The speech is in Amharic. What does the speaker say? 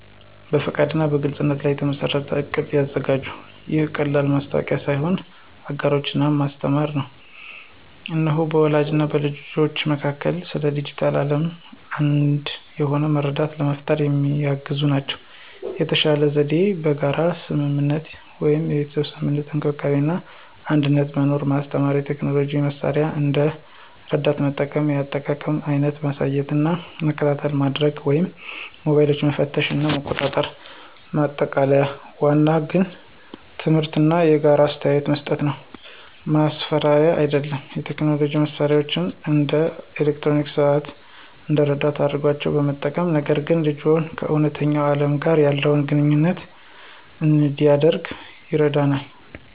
በፈቃድ እና በግልፅነት ላይ የተመሠረተ እቅድ ያዘጋጁ። ይህ ቀላል ማወቂያ ሳይሆን አጋሮች እና ማስተማር ነው። እነዚህ በወላጆች እና በልጆች መካከል ስለ ዲጂታል ዓለም አንድ የሆነ መረዳት ለመፍጠር የሚያግዙ ናቸው። የተሻለ ዘዴ የጋራ ስምምነት (የቤተሰብ ስምምነት፣ እንክብካቤ እና አንድነት፣ መማር ማስተማር፣ የቴክኖሎጂ መሳሪያዎችን እንደ ረዳት መጠቀም፣ የአጠቃቀም አይነት ማሳየት እና መከታተይ ማድርግ ወይም ሞባይሎችን መፈተሽ እና መቆጣጠር። ማጠቃለያ ዋናው ግብ ትምህርት እና የጋራ አስተያየት መስጠት ነው፣ ማስፈራሪያ አይደለም። የቴክኖሎጂ መሳሪያዎችን (እንደ አርክስታይም ሰዓት) እንደ ረዳት አድርገው በመጠቀም፣ ነገር ግን ልጅዎ ከእውነተኛ ዓለም ጋር ያለውን ግንኙነት እንዲያደርግ ይረዳናል።